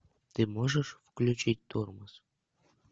ты можешь включить тормоз